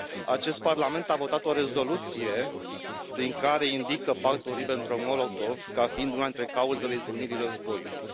Acest Parlament a votat o rezoluție prin care indică Pactul Ribbentrop Molotov ca fiind una dintre cauzele izbucnirii războiului.